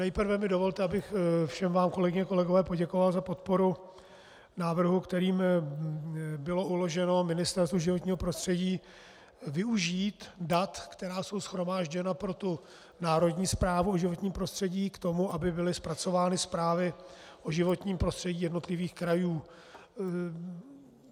Nejprve mi dovolte, abych vám všem, kolegyně a kolegové, poděkoval za podporu návrhu, kterým bylo uloženo Ministerstvu životního prostředí využít dat, která jsou shromážděna pro tu národní zprávu o životním prostředí k tomu, aby byly zpracovány zprávy o životním prostředí jednotlivých krajů.